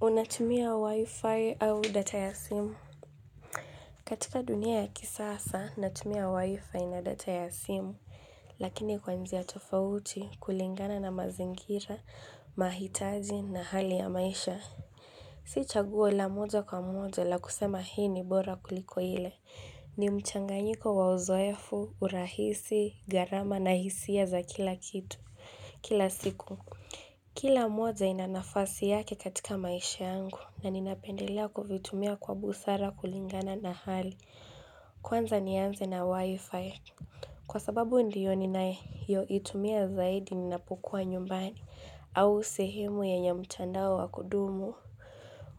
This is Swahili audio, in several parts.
Unatumia wi-fi au data ya simu katika dunia ya kisasa natumia wi-fi na data ya simu Lakini kwa njia tofauti kulingana na mazingira, mahitaji na hali ya maisha Si chaguo la moja kwa moja la kusema hii ni bora kuliko ile ni mchanganyiko wa uzoefu, urahisi, gharama na hisia za kila kitu kila siku Kila moja ina nafasi yake katika maisha yangu na ninapendelea kuvitumia kwa busara kulingana na hali kwanza nianze na wi-fi. Kwa sababu ndiyo ninayeyoitumia zaidi ninapokuwa nyumbani au sehemu yenye mtandao wa kudumu.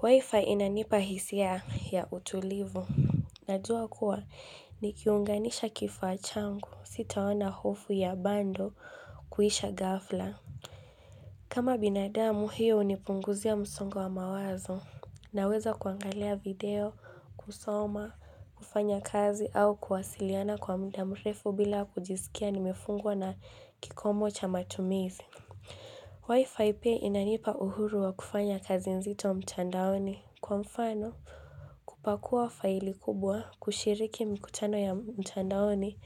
Wi-fi inanipa hisia ya utulivu. Najua kuwa nikiunganisha kifaa changu sitaona hofu ya bundle kuisha ghafla. Kama binadamu hiyo hunipunguzia msongo wa mawazo naweza kuangalia video, kusoma, kufanya kazi au kuwasiliana kwa mda mrefu bila kujisikia nimefungwa na kikomo cha matumizi. Wi-Fi pia inanipa uhuru wa kufanya kazi nzito mtandaoni kwa mfano kupakua faili kubwa, kushiriki mkutano ya mtandaoni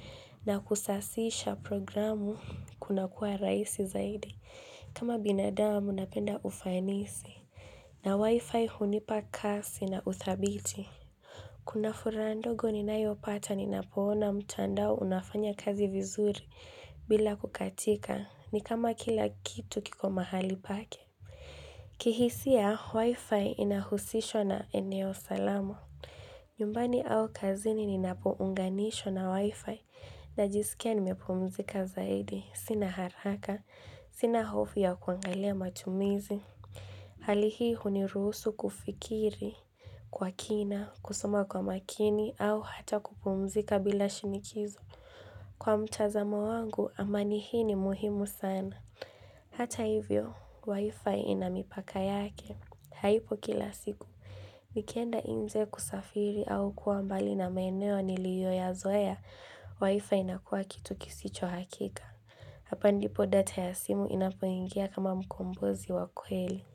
na kusasisha programu kunakuwa rahisi zaidi. Kama binadamu napenda ufanisi na wifi hunipa kasi na uthabithi. Kuna furaha ndogo ninayopata ninapoona mtandao unafanya kazi vizuri bila kukatika ni kama kila kitu kiko mahali pake. Kihisia wifi inahusishwa na eneo salama. Nyumbani au kazini ninapounganisha na wifi najisikia nimepumzika zaidi. Sina haraka, sina hofu ya kuangalia matumizi. Hali hii huniruhusu kufikiri kwa kina, kusoma kwa makini au hata kupumzika bila shinikizo. Kwa mtazamo wangu, amani hii ni muhimu sana. Hata hivyo, wifi ina mipaka yake. Haipo kila siku. Nikienda nje kusafiri au kuwa mbali na maeneo niliyoyazoea wi-fi inakuwa kitu kisicho hakika. Hapa ndipo data ya simu inapoingia kama mkombozi wa kweli.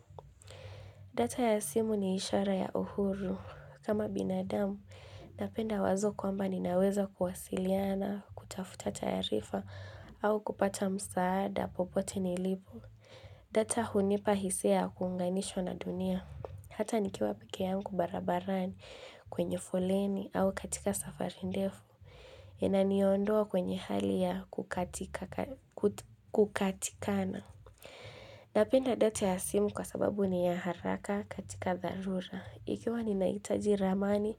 Data ya simu ni ishara ya uhuru. Kama binadamu, napenda wazo kwamba ninaweza kuwasiliana, kutafuta taarifa au kupata msaada popote nilipo. Data hunipa hisia ya kuunganishwa na dunia. Hata nikiwa peke yangu barabarani kwenye foleni au katika safari ndefu. Inaniondoa kwenye hali ya kukatika kukatikana. Napenda data ya simu kwa sababu ni ya haraka katika dharura. Ikiwa ninahitaji ramani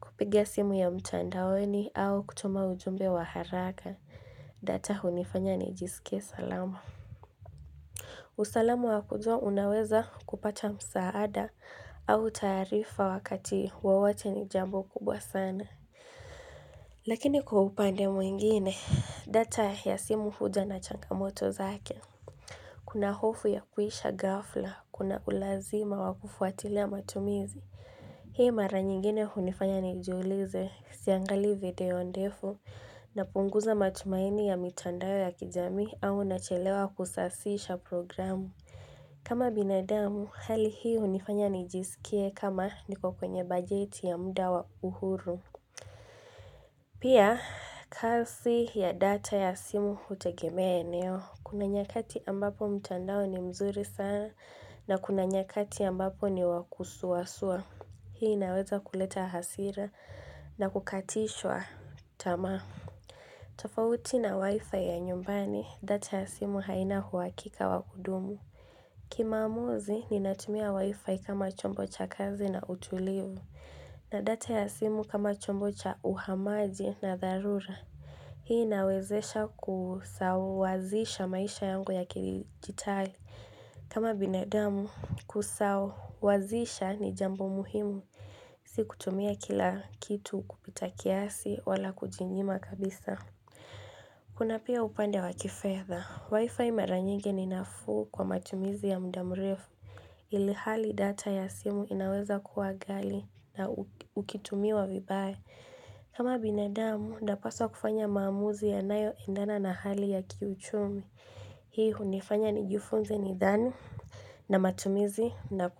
kupiga simu ya mtandaoni au kutuma ujumbe wa haraka data hunifanya nijisike salama. Usalama wa kujua unaweza kupata msaada au taarifa wakati wowote ni jambo kubwa sana. Lakini kwa upande mwingine, data ya simu huja na changamoto zake. Kuna hofu ya kuisha ghafla, kunakulazima wa kufwatilia matumizi. Hii mara nyingine hunifanya nijiulize siangali video ndefu napunguza matumaini ya mitandao ya kijamii au nachelewa kusasisha programu. Kama binadamu, hali hii hunifanya nijisikie kama niko kwenye bajeti ya mda wa uhuru Pia, kasi ya data ya simu hutegemea eneo Kuna nyakati ambapo mtandao ni mzuri sana na kuna nyakati ambapo ni wa kusuwasuwa Hii inaweza kuleta hasira na kukatishwa tamaa Tafauti na wifi ya nyumbani, data ya simu haina huhakika wa kudumu Kimaamuzi ninatumia wifi kama chombo cha kazi na utulivu na data ya simu kama chombo cha uhamaji na dharura Hii inawezesha kusawazisha maisha yangu ya kidijitali kama binadamu kusawazisha ni jambo muhimu Si kutumia kila kitu kupita kiasi wala kujinyima kabisa Kuna pia upande wa kifedha wifi mara nyingi ni nafuu kwa matumizi ya mda mrefu Ilihali data ya simu inaweza kuwa ghali na ukitumiwa vibaya kama binadamu napaswa kufanya maamuzi yanayoendana na hali ya kiuchumi Hii hunifanya nijifunze nidhani na matumizi na.